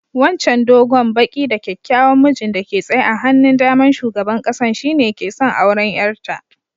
Wancan dogon, baki da kyakkyawan mijin da ke tsaye a hannun da'man sugaban kasan shine ke son auren yar ta.